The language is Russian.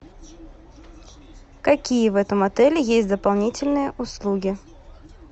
какие в этом отеле есть дополнительные услуги